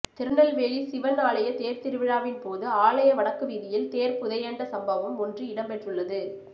திருநெல்வேலி சிவன் ஆலய தேர்திருவிழாவின் போது ஆலய வடக்கு வீதியில் தேர் புதையண்ட சம்பவம் ஒன்று இடம்பெற்றுள்ளது